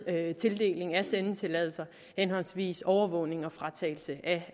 tildelingen af sendetilladelser henholdsvis overvågning og fratagelse af